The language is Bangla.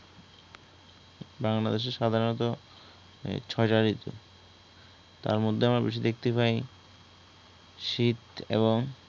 বাংলাদেশে সাধারণত ছয় টা ঋতু, তাঁর মধ্যে আমরা বেশি দেখতে পায় শীত এবং